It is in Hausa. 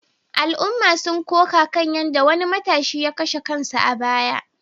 Al’umma sun koka kan yadda wani matashi ya kashe kansa a baya